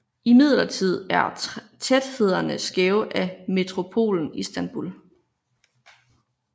Imidlertid er tæthederne skæve af metropolen Istanbul